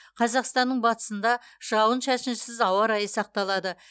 қазақстанның батысында жауын шашынсыз ауа райы сақталады